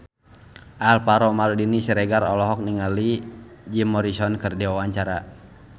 Alvaro Maldini Siregar olohok ningali Jim Morrison keur diwawancara